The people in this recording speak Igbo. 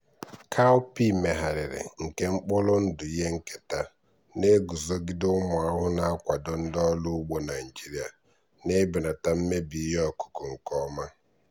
cowpea megharịrị nke mkpụrụ ndụ ihe nketa na-eguzogide ụmụ ahụhụ na-akwado ndị ọrụ ugbo naijiria na ibelata mmebi ihe ọkụkụ nke ọma.